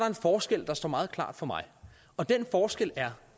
en forskel der står meget klart for mig og den forskel er